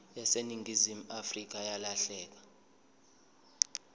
yaseningizimu afrika yalahleka